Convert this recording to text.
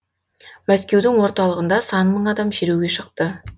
мәскеудің орталығында сан мың адам шеруге шықты